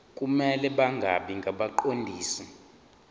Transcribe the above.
kumele bangabi ngabaqondisi